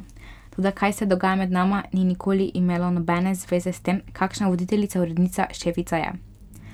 Toda kaj se dogaja med nama, ni nikoli imelo nobene zveze, s tem, kakšna voditeljica, urednica, šefica je.